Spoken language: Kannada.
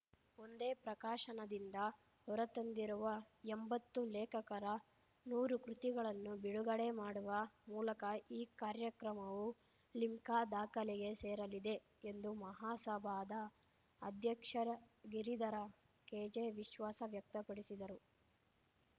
ಒಂದೇ ಪ್ರಕಾಶನದಿಂದ ಹೊರತಂದಿರುವ ಎಂಬತ್ತು ಲೇಖಕರ ನೂರು ಕೃತಿಗಳನ್ನು ಬಿಡುಗಡೆ ಮಾಡುವ ಮೂಲಕ ಈ ಕಾರ್ಯಕ್ರಮವು ಲಿಮ್ಕಾ ದಾಖಲೆಗೆ ಸೇರಲಿದೆ ಎಂದು ಮಹಾಸಭಾದ ಅಧ್ಯಕ್ಷರ ಗಿರಿಧರ ಕೆ ಜೆ ವಿಶ್ವಾಸ ವ್ಯಕ್ತಪಡಿಸಿದರು